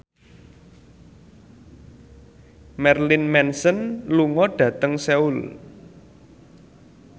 Marilyn Manson lunga dhateng Seoul